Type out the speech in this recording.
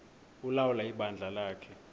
ulawula ibandla lakhe